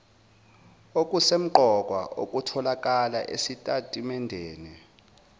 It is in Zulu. okusemqoka okutholakala esitatimendeni